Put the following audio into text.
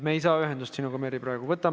Me ei saa sinuga, Merry, praegu ühendust.